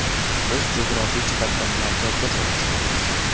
Biz jug‘rofiy jihatdan markazda joylashganmiz.